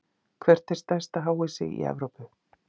Hvert er stærsta háhýsi í Evrópu?